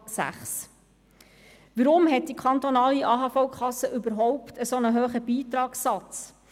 Weshalb hat die kantonale AHV-Kasse überhaupt einen derart hohen Beitragssatz?